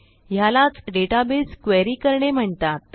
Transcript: ह्यालाच database query करणे म्हणतात